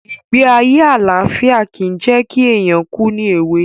Ìgbé ayé àlàfíà ki jẹ̀ ki éyàn kù ni èwe